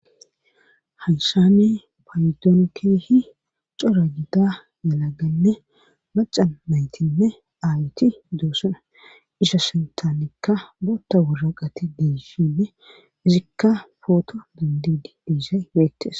hayshane payidoon keehi cora gida yalaganne maca maytinne aayiti doosana isha sintaanikka bootta wuraqati diishinne izikka footo dandidi diisa iweettes